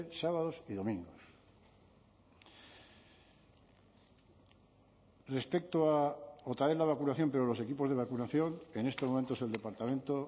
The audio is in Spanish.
sábados y domingos respecto a otra vez la vacunación pero los equipos de vacunación en estos momentos el departamento